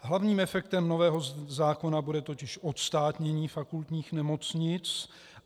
Hlavním efektem nového zákona bude totiž odstátnění fakultních nemocnic.